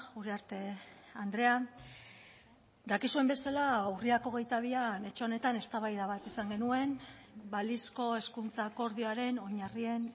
uriarte andrea dakizuen bezala urriak hogeita bian etxe honetan eztabaida bat izan genuen balizko hezkuntza akordioaren oinarrien